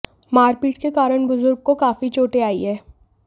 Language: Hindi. मारपीट के कारण बुजुर्ग को काफी चोटें आई हैं